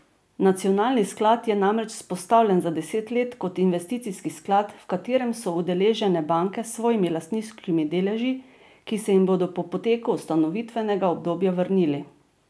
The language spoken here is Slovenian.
Nacionalni sklad je namreč vzpostavljen za deset let kot investicijski sklad, v katerem so udeležene banke s svojimi lastniškimi deleži, ki se jim bodo po poteku ustanovitvenega obdobja vrnili.